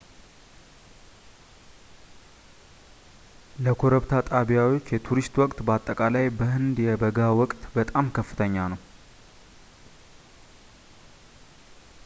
ለኮረብታ ጣቢያዎች የቱሪስት ወቅት በአጠቃላይ በሕንድ የበጋ ወቅት በጣም ከፍተኛ ነው